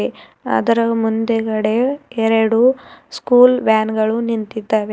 ಅದರ ಮುಂದುಗಡೆ ಎರಡು ಸ್ಕೂಲ್ ವ್ಯಾನ್ ಗಳು ನಿಂತಿದ್ದಾವೆ.